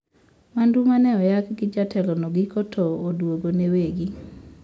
Mwandu maneoyaki gi jatelo no giko ta oduogo ne wegi